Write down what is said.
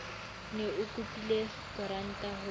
ne o kopile koranta ho